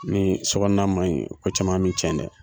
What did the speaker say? Ni sokɔnɔna ma ɲi ko caman mi cɛn dɛ!